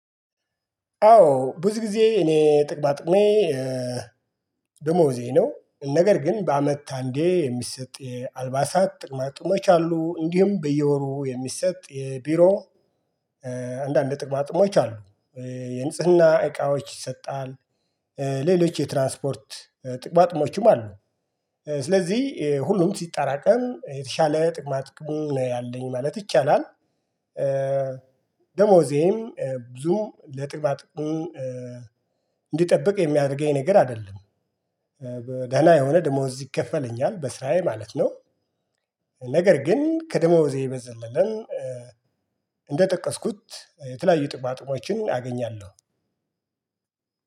አዎ ብዙ ጊዜ እኔ ጥቅም ጥቅሜ ደሞዜ ነው ነገር ግን በአመት አንዴ የሚሰጥ የአልባሳት ጥቅማጥሞች አሉ እንዲሁም በየወሩ የሚሰጥ የቢሮ አንዳንድ ጥቅማጥሞች አሉ። የንጽህና እቃዎች ይሰጣል። ሌሎች የትራንስፖርት ጥቅማ ጥቅሞችም አሉ። ስለዚህ ሁሉም ሲጠራቀም የተሻለ ጥቅማ ጥቅም ነው ያለኝ ማለት ይቻላል። ደሞዜም ብዙ ለጥቅማ ጥቅሙ እንዲጠብቅ የሚያደርገኝ ነገር አይደለም። ደህና የሆነ ደሞዝ እዚህ ይከፈለኛል በስራዬ ማለት ነው። ነገር ግን ከደሞዜ በዘለለም እንደጠቀስኩት የተለያዩ ጥቅማጥቅሞችን አገኛለሁ።